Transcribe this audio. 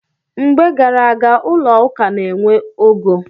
Mgbe gar aga, ụlọ ụka na-enwe ogo.